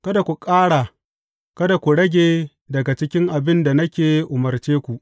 Kada ku ƙara, kada ku rage daga cikin abin da nake umarce ku.